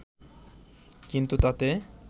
কিন্তু তাতে